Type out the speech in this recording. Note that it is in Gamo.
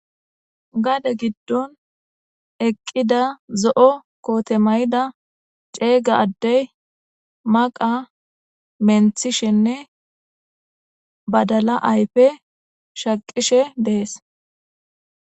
gade giddon eqqida zo7o kootemayida ceega addey maqa menthishenne badala ayfe shaqishe dees